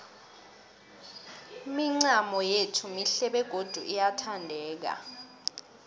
imincamo yethu mihle begodu iyathandeka